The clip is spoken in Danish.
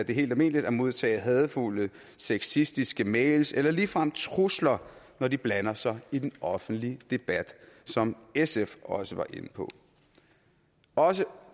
helt almindeligt at modtage hadefulde sexistiske mails eller ligefrem trusler når de blander sig i den offentlige debat som sf også var inde på også